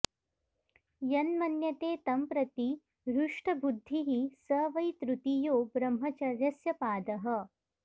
यन्मन्यते तं प्रति हृष्टबुद्धिः स वै तृतीयो ब्रह्मचर्यस्य पादः